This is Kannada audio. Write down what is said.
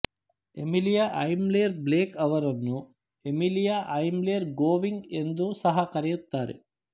ಎಮಿಲಿಯ ಅಯ್ಮ್ಲೆರ್ ಬ್ಲೇಕ್ ಅವರನ್ನು ಎಮಿಲಿಯ ಅಯ್ಮ್ಲೆರ್ ಗೋವಿಂಗ್ ಎಂದು ಸಹ ಕರೆಯುತ್ತಾರೆ